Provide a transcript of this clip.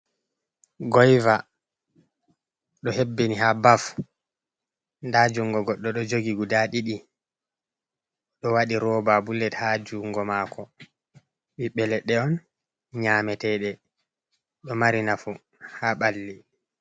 Goyva ɗo hebbini ha baf, nda jungo goɗɗo ɗo jogi guda ɗiɗi ɗo waɗi roba bulet ha jungo mako, ɓiɓɓe leɗɗe on nyamete ɗe, ɗo mari nafu ha ɓalli.